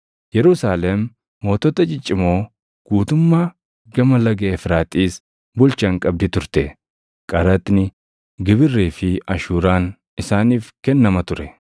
Yerusaalem mootota ciccimoo guutummaa Gama Laga Efraaxiis bulchan qabdi turte; qaraxni, gibirrii fi ashuuraan isaaniif kennama ture.